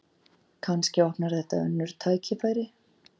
Kannski opnar þetta önnur tækifæri